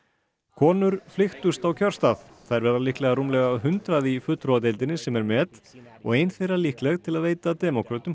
konur flykktust á kjörstað þær verða líklega rúmlega hundrað í fulltrúadeildinni sem er met og ein þeirra líkleg til að veita demókrötum